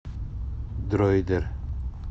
дроидер